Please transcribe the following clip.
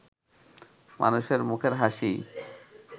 মানুষের মুখের হাসিই